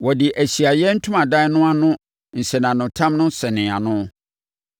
Ɔde Ahyiaeɛ Ntomadan no ano nsɛnanotam sɛnee ano.